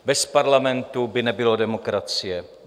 Bez parlamentu by nebylo demokracie.